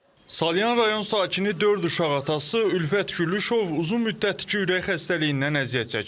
Salyan rayon sakini dörd uşaq atası Ülfət Güllüşov uzun müddətdir ki, ürək xəstəliyindən əziyyət çəkir.